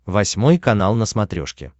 восьмой канал на смотрешке